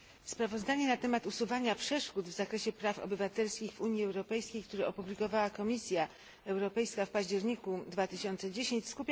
Sprawozdanie na temat usuwania przeszkód w zakresie praw obywatelskich w Unii Europejskiej, które opublikowała Komisja Europejska w październiku 2010 r.,